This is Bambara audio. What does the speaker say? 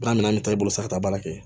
Wa mina an bɛ taa i bolo san ka taa baara kɛ